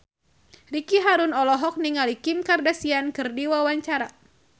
Ricky Harun olohok ningali Kim Kardashian keur diwawancara